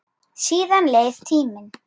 Síðan leið tíminn.